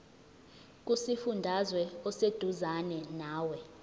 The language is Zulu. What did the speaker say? kusifundazwe oseduzane nawe